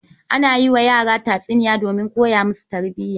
Ana yi wa yara tatsiniya donmin koya musu tarbiya.